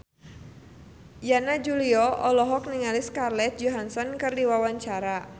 Yana Julio olohok ningali Scarlett Johansson keur diwawancara